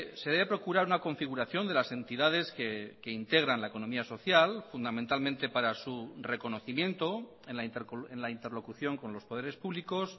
se debe procurar una configuración de las entidades que integran la economía social fundamentalmente para su reconocimiento en la interlocución con los poderes públicos